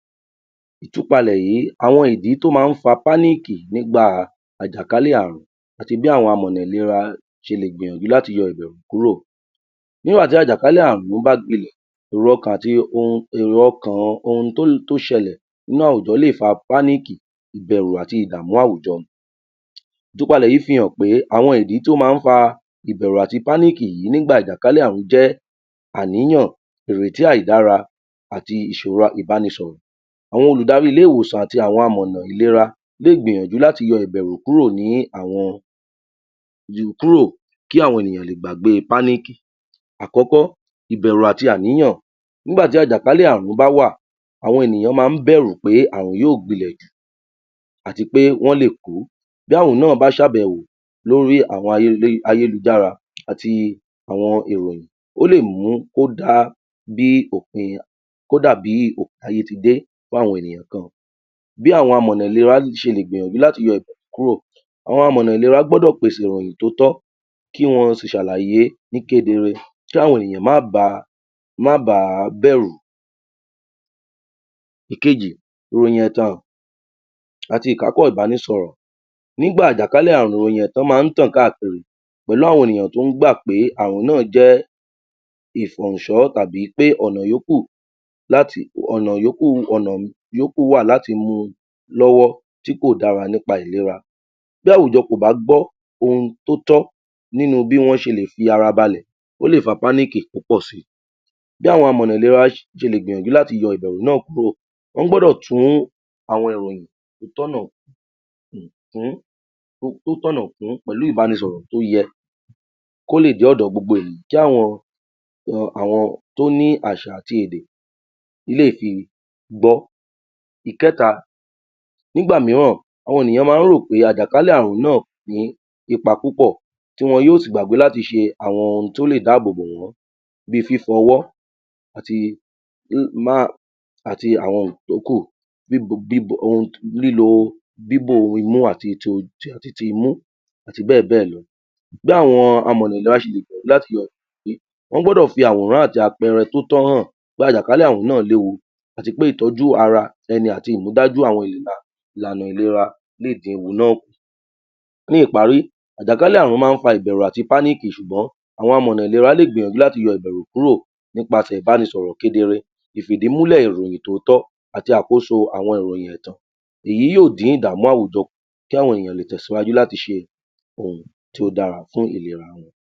Ìtúpalẹ̀ yí, àwọn ìdí tó máa ń fa (Panic) nígbà àjàkálẹ̀ àrùn àti bí àwọn amọ̀nà ìlera ṣe lè gbìyànjú láti yọ ìbẹ̀rù kúrò, nígbà tí àjàkálẹ̀ àrùn bá gbilẹ̀, èrò ọkàn ohun tó ṣẹlẹ̀ nínú àwùjọ lè fa (Panic), ìbẹ̀rù àti ìdàmú àwùjọ. Ìtúpalẹ̀ yí fi hàn pé àwọn ìdí tì ó máa ń fa ìbẹrù àti (Panic) yí nígbà ìjàkálẹ̀ àrùn jẹ́ àníyàn, ìrètí àìdára àti ìṣòro àìbánisọ̀rọ̀, àwọn olùdarí ilé ìwòsàn àti àwọn amọ̀nà ìlera lè gbìyànjú láti yọ ìbẹ̀rù kúrò ni àwọn, kúrò kí àwọn ènìyàn lè gbagbé (Panic). Àkọ́kọ́, ìbẹ̀rù àti àníyàn, nígbà tí àjàkálẹ̀ àrùn bá wà, àwọn ènìyàn máa ń bẹ̀rù pé àrùn yóò gbilẹ̀ jù àti pé wọ́n lè kú, bí àrùn náà bá ṣàbẹ̀wò lórí àwọn ayélujára àti àwọn ìròyìn, ò lè mú kó dà bí òpin ayé ti dé fún àwọn ènìyàn kan. Bí àwọn amọ̀nà ìlera ṣe lè gbìyànjú láti yọ ìbẹ̀rù kúrò, àwọn àmọ̀nà ìlera gbọ́dọ̀ pèsè ìròyìn tó tọ́, kí wọ́n sì ṣàlàyé ní kedere kí àwọn ènìyàn má ba bẹ̀rù. Ẹ̀kejì, ìròyìn ẹ̀tàn àti ìkápọ̀ ìbánisọ̀rọ̀, nígbà ìjàkálẹ̀ àrùn ìròyìn ẹ̀tàn máa ń tàn káàkiri pẹ̀lú àwọn ènìyàn tó ń gbà pé àrùn náà jẹ́ tàbí pé ọ̀nà ìyókù wà láti mu lọ́wọ́ tí kò dára nípa ìlera, bí àwùjọ kò bá gbọ́ ohun tó tọ́ nínu bí wọ́n ṣe lè fi ara balẹ̀, o lè fa (Panic) púpọ̀ si. Bí àwọn amọ̀nà ìlera ṣe lẹ̀ gbìyànjú láti yọ ìbẹ̀rù náà kúrò, wọ́n gbọ́dọ̀ tún àwọn ìròyìn tó tọ̀nà kún pẹ̀lú ìbanisọ̀rọ̀ tó yẹ, kó lè dé ọ̀dọ̀ gbogbo ènìyàn, kí àwọn tó ní àṣà àti èdè lè fi gbọ́. Ìkẹ́ta, nígbà míràn, àwọn ènìyàn màa ń ròpé àjàkálẹ̀ àrùn náà ò ní ipa púpọ̀ tí wọn yóò sì gbàgbé láti ṣe àwọn ohun tí ó lè ìdáàbò bò wọ́n, bí fífọwọ́ àti àwọn nǹkan tó kù, bíbò imú àti ti imú àti bẹ́ẹ̀-bẹ́ẹ̀ lọ. Bí àwọn amọ̀n ìlera ṣe le gbìyànju gbìyànju láti yí èyí, wọ́n gbọ́dọ̀ fi àwòráñ àti apẹẹrẹ tó tọ hàn pé àjàkálẹ̀ àrùn yí náà léwu àti wí pé ìtọj́u ara ẹni ati ìmúfdájú àwọn ìlànà ìlera lè dín òhun náà kù. Ní ìparí, àjàkálẹ̀ àrùn máa ń fa ìbẹ̀rù àti (Panic) ṣùgbọ́n àwọn amọ̀nà ìlera lè gbìyànjú láti yọ ìbẹ̀rù kúrò nípasẹ̀ ìbánisọ̀rọ̀ kedere, ìfìdímúlẹ̀ ìròyìn tó tọ́ àti àkóso àwọn ìròyìn ẹ̀tàn, èyí yóò dín ìdàmú àwùjọ kù, kí àwọn ènìyàn lè tẹ̀síwájú láti ṣe ohun tí ó dára fún ìlera.